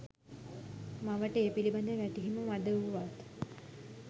මවට ඒ පිළිබඳ වැටහීම මඳ වුවත්